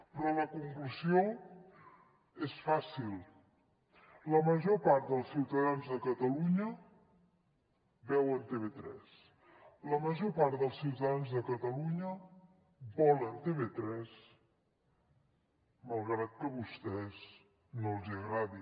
però la conclusió és fàcil la major part dels ciutadans de catalunya veuen tv3 la major part dels ciutadans de catalunya volen tv3 malgrat que a vostès no els agradi